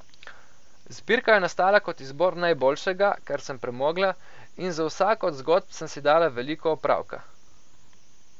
Zbirka je nastala kot izbor najboljšega, kar sem premogla, in z vsako od zgodb sem si dala veliko opravka.